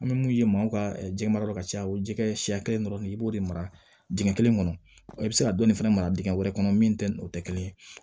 An bɛ mun ye maaw ka jɛma yɔrɔ ka ca o jɛgɛ siɲɛ kelen dɔrɔn de i b'o de mara dingɛ kelen kɔnɔ i bɛ se ka dɔɔni fana mara dingɛ wɛrɛ kɔnɔ min tɛ o tɛ kelen ye